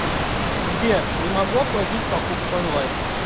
сбер не могу оплатить покупку онлайн